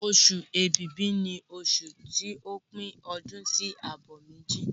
Oṣù Ibìbí ni oṣù ti o pín ọdún sí àbọ̀ méjì.